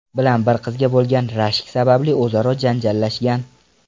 bilan bir qizga bo‘lgan rashk sababli o‘zaro janjallashgan.